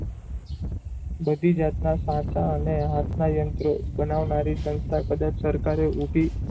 બધી જાતનાં સાચાં અને હાથનાં યંત્રો બનાવનારી સંસ્થા કદાચ સરકારે ઊભી,